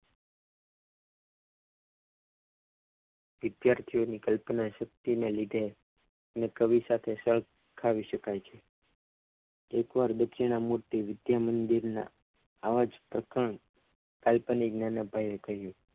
વિદ્યાર્થીઓની કલ્પના શક્તિને લીધે ને કવિ સાથે સરખાવી શકાય છ એકવાર દક્ષિણા મૂર્તિ વિદ્યા મંદિરમાં આ જ પ્રસંગ કાલ્પનિક રીતે થયો હતો.